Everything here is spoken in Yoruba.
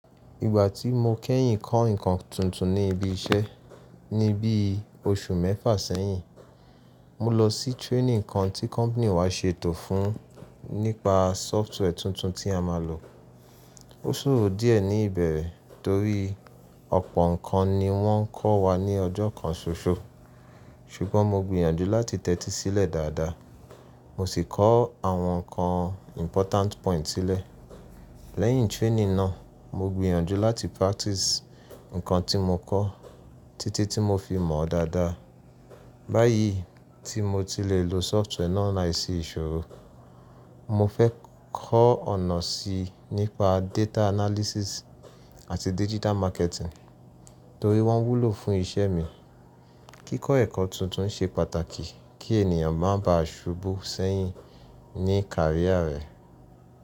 Ìgbà tí mo kẹ́yìn kọ́ nǹkan tuntun ní ibi iṣẹ́, ní bí oṣù mẹ́fà sẹ́yìn, mo lọ sí training kan tí company wa ṣe ètò fún nípa software tuntun tí a máa lò. Ó ṣòro díẹ̀ ní ìbẹ̀rẹ̀ torí ọ̀pọ̀ nǹkan ni wọ́n kọ́ wa ní ọjọ́ kan ṣoṣo, ṣùgbọ́n mo gbìyànjú láti tẹ́tí sílẹ̀ dáadáa, mo sì kọ́ àwọn nǹkan important point sílẹ̀. Lẹ́yìn training náà, mo gbìyànjú láti practice nǹkan tí mo kọ́ títí tí mo fi mọ̀ ọ́ dáadáa. Báyìí tí mo tilẹ̀ lò software náà láìsí ìṣòro. Mo fẹ́ kọ́ ọ̀nà síi nípa data analysis àti digital marketing torí wọ́n wúlò fún iṣẹ́ mi. Kíkọ́ ẹ̀kọ́ tuntun ṣe pàtàkì kí ènìyàn máa ba à ṣubú sẹ́yìn ní career rẹ̀.